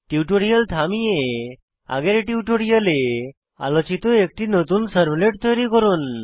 টিউটোরিয়ালটি থামিয়ে আগের টিউটোরিয়ালে আলোচিত একটি নতুন সার্ভলেট তৈরি করুন